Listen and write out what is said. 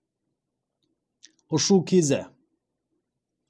ұшу кезі